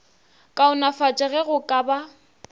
kaonafatšwa ge go ka ba